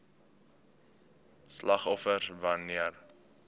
slagoffers wan neer